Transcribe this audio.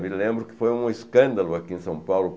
Me lembro que foi um escândalo aqui em São Paulo.